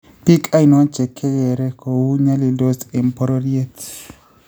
Biik ainoo chekekeere kouo nyalildos eng bororyeet